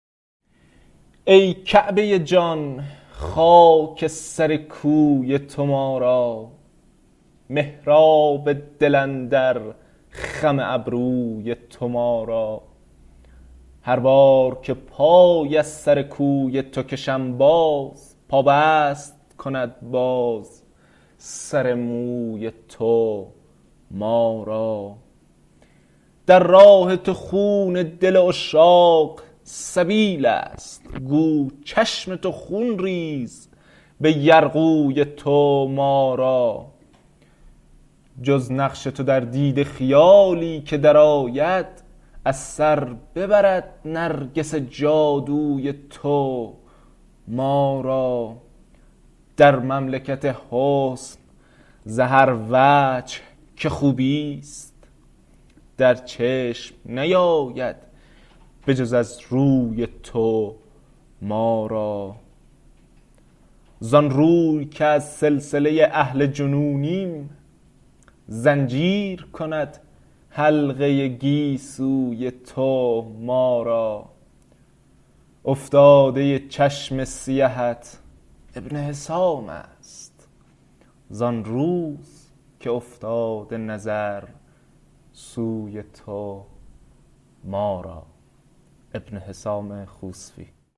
ای کعبه جان خاک سر کوی تو ما را محراب دل اندر خم ابروی تو ما را هر بار که پای از سر کوی تو کشم باز پابست کند باز سر موی تو ما را در راه تو خون دل عشاق سبیل است گو چشم تو خون ریز به یرغوی تو ما را جز نقش تو در دیده خیالی که در آید از سر ببرد نرگس جادوی تو ما را در مملکت حسن ز هر وجه که خوب است در چشم نیاید به جز از روی تو ما را زان روی که از سلسله اهل جنونیم زنجیر کند حلقه گیسوی تو ما را افتاده چشم سیهت ابن حسام است زان روز که افتاده نظر سوی تو ما را